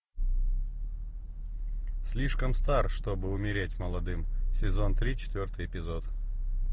слишком стар чтобы умереть молодым сезон три четвертый эпизод